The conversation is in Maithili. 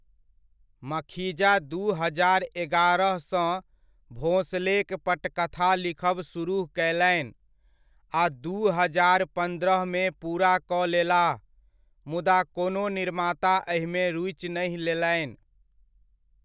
मखीजा दू हजार एगारह सँ भोंसलेक पटकथा लिखब सुरुह कयलनि, आ दू हजार पन्द्रहमे पूरा कऽ लेलाह, मुदा कोनो निर्माता एहिमे रुचि नहि लेलनि।